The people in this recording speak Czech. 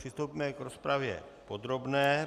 Přistoupíme k rozpravě podrobné.